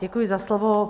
Děkuji za slovo.